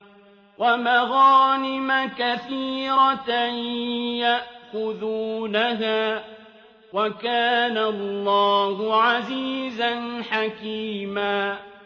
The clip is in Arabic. وَمَغَانِمَ كَثِيرَةً يَأْخُذُونَهَا ۗ وَكَانَ اللَّهُ عَزِيزًا حَكِيمًا